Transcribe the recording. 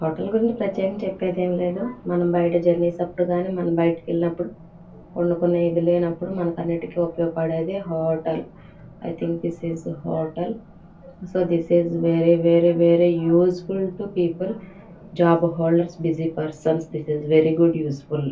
Hotel గురండి ప్రత్యేకంగా చెప్పేదేమీ లేదు. మనం బయట జర్నీస్ అప్పుడు గాని మనం బయటికెళ్లినప్పుడు వండుకునే ఇది లేనప్పుడు మనకి అన్నిటికి ఉపయోగపడేదే hotel . I think this is the hotel . So this is very very very useful to people job holders busy persons this is very good useful .